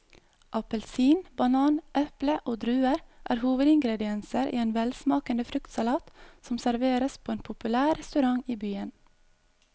Appelsin, banan, eple og druer er hovedingredienser i en velsmakende fruktsalat som serveres på en populær restaurant i byen.